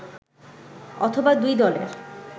অথবা দুই দলের